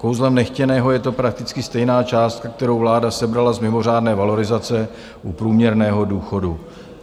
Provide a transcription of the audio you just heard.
Kouzlem nechtěného je to prakticky stejná částka, kterou vláda sebrala z mimořádné valorizace u průměrného důchodu.